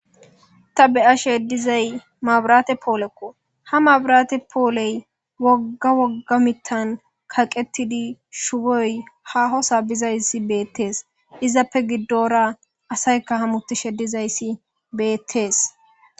Ta be'ashe dizayi mabirate poolekko, ha mabirate pooleyi wogga wooga mithani kaqetidi shuboyi haaho soo bidayisi betesi. Izape gidora asayika hamutishe dizayis betesi